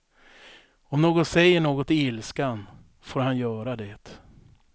Om någon säger något i ilskan får han göra det.